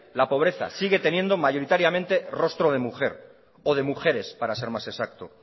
la pobreza sigue teniendo mayoritariamente rostro de mujer o de mujeres para ser más exacto